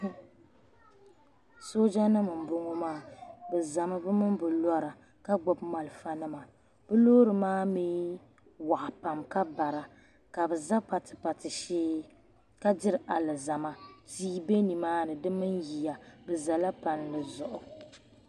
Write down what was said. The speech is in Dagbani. Sooja nima mboŋɔ maa bɛ zami bɛ mini bɛ lora ka gbibi bɛ malifa nima bɛ loori maa mee waɣa pam ka bara ka bɛ za patipati shee ka diri alizama tia be nimaani di mini yiya bɛ zala palli zuɣu.